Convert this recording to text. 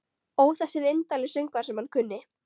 Ó þessir indælu söngvar sem hann kunni.